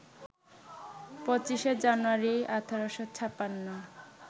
২৫শে জানুয়ারি, ১৮৫৬